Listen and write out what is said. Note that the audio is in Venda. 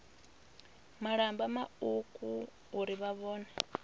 malamba mauku uri na vhone